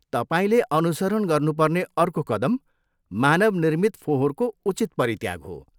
तपाईँले अनुसरण गर्नुपर्ने अर्को कदम मानवनिर्मित फोहोरको उचित परित्याग हो।